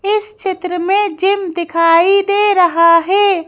इस चित्र में जिम दिखाई दे रहा है।